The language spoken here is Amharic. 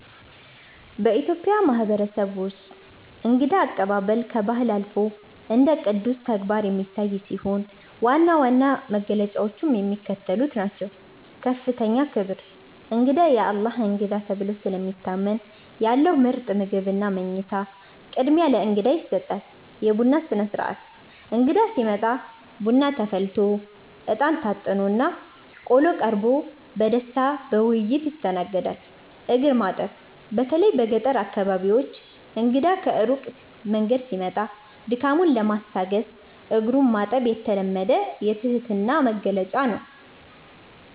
በኢትዮጵያ ማህበረሰብ ውስጥ እንግዳ አቀባበል ከባህል አልፎ እንደ ቅዱስ ተግባር የሚታይ ሲሆን፣ ዋና ዋና መገለጫዎቹም የሚከተሉት ናቸው፦ ከፍተኛ ክብር፦ እንግዳ "የአላህ እንግዳ" ተብሎ ስለሚታመን፣ ያለው ምርጥ ምግብና መኝታ ቅድሚያ ለእንግዳ ይሰጣል። የቡና ሥነ-ሥርዓት፦ እንግዳ ሲመጣ ቡና ተፈልቶ፣ አጥንት (እጣን) ታጥኖና ቆሎ ቀርቦ በደስታና በውይይት ይስተናገዳል። እግር ማጠብ፦ በተለይ በገጠር አካባቢዎች እንግዳ ከሩቅ መንገድ ሲመጣ ድካሙን ለማስታገስ እግሩን ማጠብ የተለመደ የትህትና መግለጫ ነው።